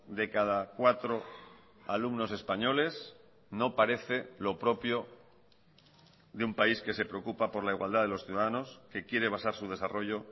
de cada cuatro alumnos españoles no parece lo propio de un país que se preocupa por la igualdad de los ciudadanos que quiere basar su desarrollo